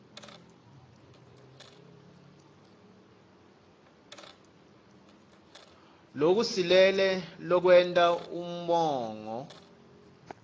lokusilele lokwenta umongo